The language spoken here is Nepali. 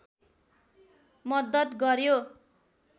मद्दत गर्‍यो